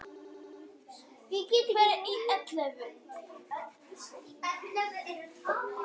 Alfreð segir að hann og Gylfi Þór Sigurðsson skari fram úr í golfinu.